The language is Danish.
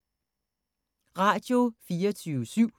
Radio24syv